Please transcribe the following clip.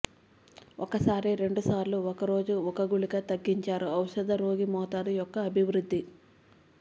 ఒకసారి రెండుసార్లు ఒక రోజు ఒక గుళిక తగ్గించారు ఔషధ రోగి మోతాదు యొక్క అభివృద్ధి